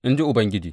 In ji Ubangiji.